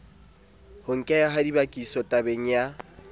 ho nkeha ha dibakisotabeng ya